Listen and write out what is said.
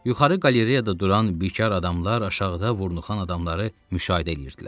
Yuxarı qalereyada duran bikar adamlar aşağıda vurnuxan adamları müşahidə edirdilər.